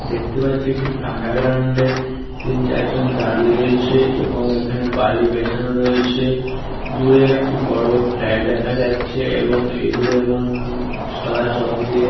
দেখতে পাচ্ছি একটি ফাঁকা গ্রাউন্ড -এ তিন চারজন দাঁড়িয়ে রয়েছে এবং এখানে বাড়ির বেছানো রয়েছে। দূরে একটি বড় ফ্যাট দেখা যাচ্ছে । এবং এগুলো এমন-ন সাদা চক দিয়ে ।